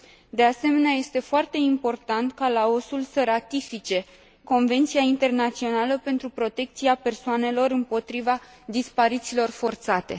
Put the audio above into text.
De asemenea, este foarte important ca Laosul să ratifice Convenția internațională pentru protecția persoanelor împotriva disparițiilor forțate.